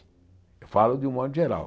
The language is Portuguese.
Eu falo de um modo geral.